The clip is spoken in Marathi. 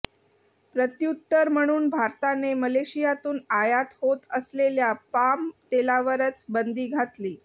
प्रत्युत्तर म्हणून भारताने मलेशियातून आयात होत असलेल्या पाम तेलावरच बंदी घातली